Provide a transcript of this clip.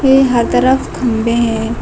ये हर तरफ खंबे है।